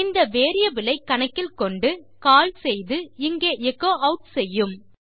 இந்த வேரியபிள் ஐ கணக்கில் கொண்டு கால் செய்து இங்கே எச்சோ ஆட் செய்யும்